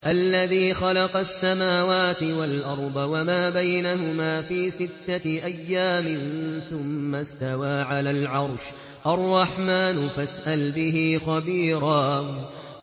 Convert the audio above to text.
الَّذِي خَلَقَ السَّمَاوَاتِ وَالْأَرْضَ وَمَا بَيْنَهُمَا فِي سِتَّةِ أَيَّامٍ ثُمَّ اسْتَوَىٰ عَلَى الْعَرْشِ ۚ الرَّحْمَٰنُ فَاسْأَلْ بِهِ خَبِيرًا